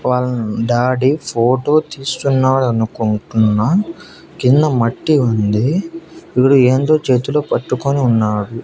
వాళ్ళ daddy photo తీస్తున్నాడనుకుంటున్నా కింద మట్టి ఉంది వీడు ఏందో చేతిలో పట్టుకొని ఉన్నాడు.